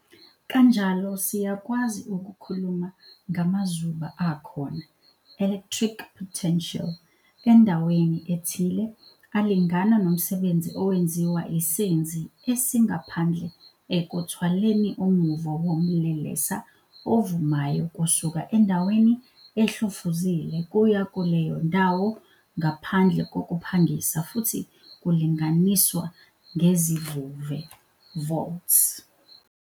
Kanjalo siyakwazi ukukhuluma ngamazuba akhona, electric potential, endaweni ethile, alingana nomsebenzi owenziwa isenzi esingaphandle ekuthwaleni umuvo womlelesa ovumayo kusuka endaweni ehlofuzile kuya kuleyo ndawo ngaphandle kokuphangisa futhi kulinganiswa ngezivuve, volts.